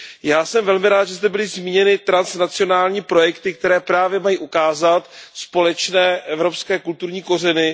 Já jsem velmi rád, že zde byly zmíněny transnacionální projekty, které právě mají ukázat společné evropské kulturní kořeny.